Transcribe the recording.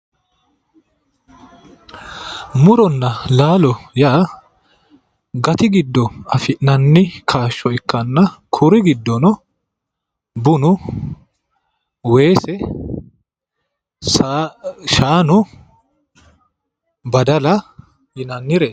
Muronna laalo yaa gati giddo afi'nanni kaasho ikkanna kuri giddonno bunnu weese, shaanu ,baddalla yinnannire